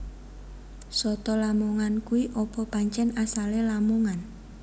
Soto lamongan kui opo pancen asale Lamongan